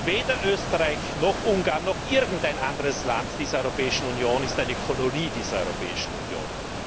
Weder Österreich noch Ungarn noch irgendein anderes Land dieser Europäischen Union ist eine Kolonie dieser Europäischen Union.